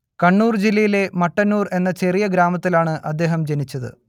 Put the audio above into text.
കണ്ണൂർ ജില്ലയിലെ മട്ടന്നൂർ എന്ന ചെറിയ ഗ്രാമത്തിലാണ് അദ്ദേഹം ജനിച്ചത്